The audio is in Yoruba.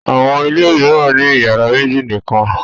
Àwọn ilé mìíràn ní ìyàrá méjì nìkan.